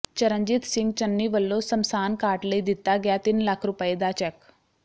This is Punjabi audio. ਚਰਨਜੀਤ ਸਿੰਘ ਚੰਨੀ ਵਲੋਂ ਸਮਸਾਨ ਘਾਟ ਲਈ ਦਿਤਾ ਗਿਆ ਤਿੰਨ ਲੱਖ ਰੁਪਏ ਦਾ ਚੈੱਕ